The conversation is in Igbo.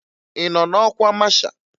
Ị nọ n'ọkwa masha?